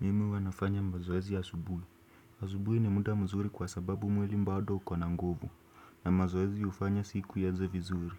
Mimi huwanafanya mazoezi asubuhi. Asubuhi ni muda mzuri kwa sababu mwili bado ukona nguvu. Na mazoezi hufanya siku ianzevizuri.